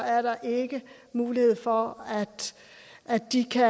er der ikke mulighed for at de kan